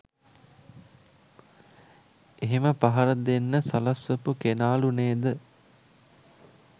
එහෙම පහර දෙන්න සලස්වපු කෙනාලු නේද